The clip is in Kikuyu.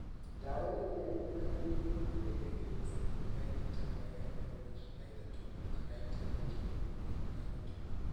Dawa ĩria ĩrĩ mageria-inĩ ĩgiragĩreria cytokine ĩtagwo IL-33 (kana interleukin-33) .